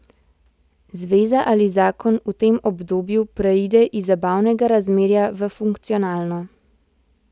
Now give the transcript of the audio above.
Zveza ali zakon v tem obdobju preide iz zabavnega razmerja v funkcionalno.